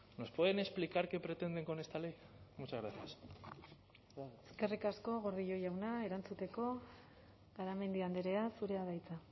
nos pueden explicar qué pretenden con esta ley muchas gracias eskerrik asko gordillo jauna erantzuteko garamendi andrea zurea da hitza